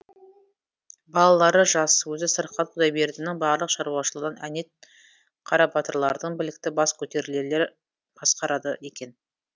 балалары жас өзі сырқат құдайбердінің барлық шаруашылығын әнет қарабатырлардың білікті бас көтерерлер басқарады екен